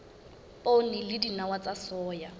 poone le dinawa tsa soya